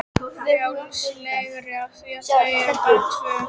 Frjálslegri af því að þau eru bara tvö.